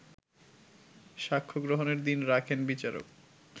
সাক্ষ্যগ্রহণের দিন রাখেন বিচারক